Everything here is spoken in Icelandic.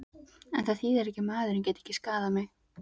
En það þýðir ekki að maðurinn geti ekki skaðað mig.